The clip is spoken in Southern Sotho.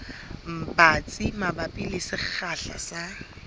batsi mabapi le sekgahla sa